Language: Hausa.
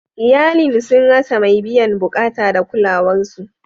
Iyalin sun rasa mai biyan bukata da kulawar su.